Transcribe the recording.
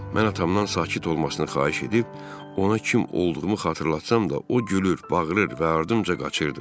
Mən atamdan sakit olmasını xahiş edib ona kim olduğumu xatırlatsam da, o gülür, bağırır və ardımca qaçırdı.